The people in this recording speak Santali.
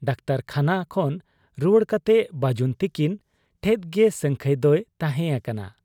ᱰᱟᱠᱛᱚᱨᱠᱷᱟᱱᱟ ᱠᱷᱚᱱ ᱨᱩᱣᱟᱹᱲ ᱠᱟᱛᱮ ᱵᱟᱹᱡᱩᱱ ᱛᱤᱠᱤᱱ ᱴᱷᱮᱫ ᱜᱮ ᱥᱟᱹᱝᱠᱷᱟᱹᱭ ᱫᱚᱭ ᱛᱟᱦᱮᱸ ᱟᱠᱟᱱᱟ ᱾